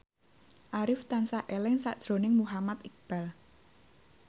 Arif tansah eling sakjroning Muhammad Iqbal